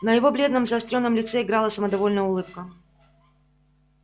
на его бледном заострённом лице играла самодовольная улыбка